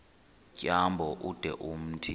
tyambo ude umthi